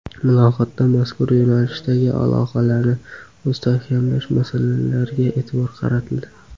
Muloqotda mazkur yo‘nalishdagi aloqalarni mustahkamlash masalalariga e’tibor qaratildi.